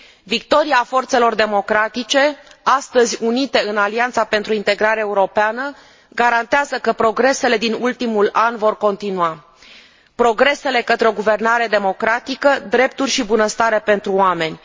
Victoria forțelor democratice, astăzi unite în Alianța pentru Integrare Europeană, garantează că progresele din ultimul an vor continua progresele către o guvernare democratică, drepturi și bunăstare pentru oameni.